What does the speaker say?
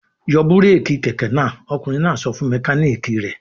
"Yọ búrékì kẹ̀kẹ́ náà! Ọkùnrin náà sọ fún mẹkáníkì rẹ̀.